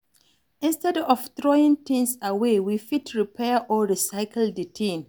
Instead of throwing things away, we fit repair or recycle di thing